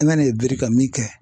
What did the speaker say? I ma n'i biri ka min kɛ